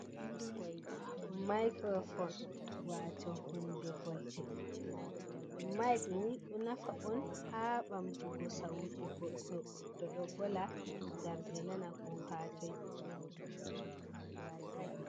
Micro fone wato hunde volde, mike ni ɗo nafa on ha bamtugo sautu goddo tow ɗo vola ngam be nana ko ha toi.